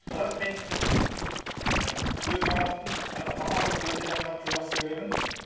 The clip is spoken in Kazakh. бірақ мен ііі өз жаңағы мамандығымды өте қатты жақсы көремін